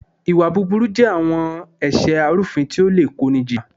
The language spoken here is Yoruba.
Ìwà búburú je àwọn ẹ̀ṣẹ arúfin tí ó le kó ni jìyà.